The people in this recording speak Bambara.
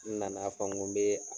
N nana fɔ ko n be